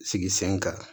Sigi sen kan